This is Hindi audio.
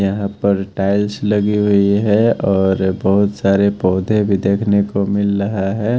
यहां पर टाइल्स लगी हुई है और बहुत सारे पौधे भी देखने को मिल रहा है।